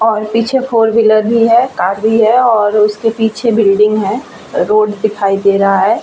और पीछे four wheeler भी है कार भी है और उसके पीछे बिल्डिंग है रोड दिखाई दे रहा है ।।